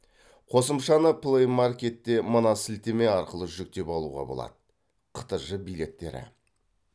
қосымшаны плей маркетте мына сілтеме арқылы жүктеп алуға болады қтж билеттері